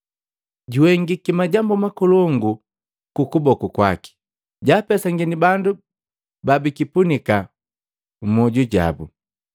Juhengiki majambu makolongu nu kuboku kwaki. Jaapesangini bandu babikipunika mmyoju jabu.